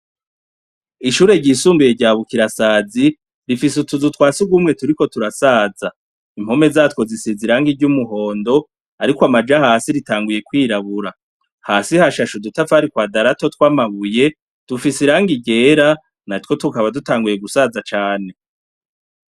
Ishure ry'isumbuye rya bukirasazi rifise utuzu twasugumwe turiko turasaza impome zazo risize irangi ry'umuhondo ariko amaja hasi ritanguye kwirabura hasi hashashe udutafari twadarato tw'amabuye dufise irangi ryera natwo tukaba dutanguye gusaza cane.